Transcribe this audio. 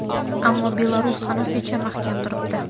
ammo Belarus hanuzgacha mahkam turibdi.